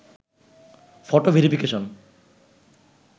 photo verification